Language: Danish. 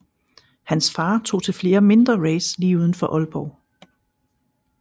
Hans far tog til flere mindre race lidt uden for Aalborg